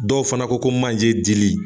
Dɔw fana ko ko manje dili.